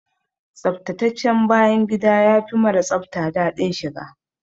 Tsaftataccen bayan gida yafi mara tsafta daɗin shiga.